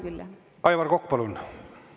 Aivar Kokk, palun!